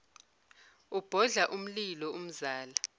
ubhodla umlilo umzala